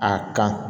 A kan